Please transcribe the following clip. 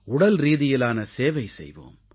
உடல்ரீதியிலான சேவை செய்வோம்